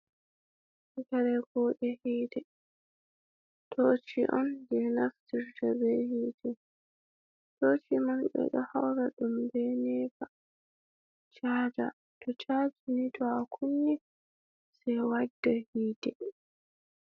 karee kuuɗe hiite, toci on je naftirta be hite. Toci man ɓe ɗo haura ɗum be nepa, chaja to chaja ni to akunni sei wadda hiite.